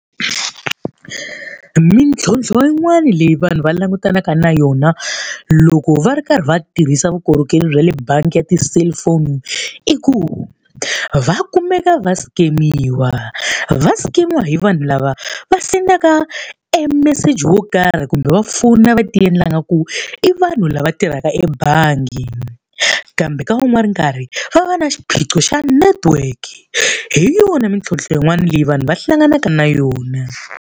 Mintlhontlho yin'wani leyi vanhu va langutanaka na yona loko va ri karhi va tirhisa vukorhokeri bya le bangi ya ti-cellphone i ku, va kumeka va skemiwa. Va skemiwa hi vanhu lava va sendaka e meseji wo karhi kumbe va fowuna na va ti endla ingaku i vanhu lava tirhaka ebangi. Kambe ka wun'wana karhi va va na xiphiqo xa network. Hi yona mintlhontlho yin'wana leyi vanhu va hlanganaka na yona.